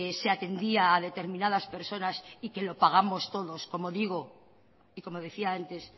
se atendía a determinadas personas y que lo pagamos todos como digo y como decía antes